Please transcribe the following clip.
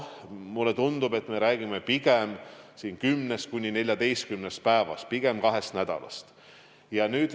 Mulle tundub, et me räägime siin 10–14 päevast, pigem kahest nädalast.